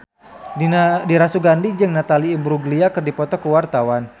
Dira Sugandi jeung Natalie Imbruglia keur dipoto ku wartawan